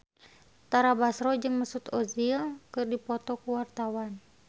Tara Basro jeung Mesut Ozil keur dipoto ku wartawan